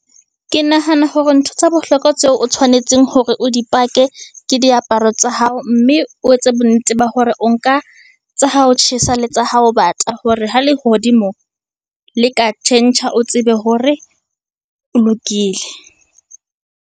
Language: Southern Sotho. Ke nahana hore ntho tsa bohlokwa tseo o tshwanetseng hore o di pake ke diaparo tsa hao. Mme o etse bonnete ba hore o nka tsa ha ho tjhesa, le tsa hao bata, hore ho lehodimo le ka tjhentjha o tsebe hore o lokile.